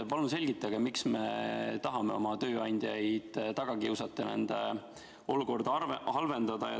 Palun selgitage, miks me tahame oma tööandjaid taga kiusata ja nende olukorda halvendada.